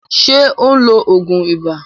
Ṣé ó ń lo òògùn ibà?